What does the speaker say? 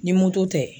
Ni moto tɛ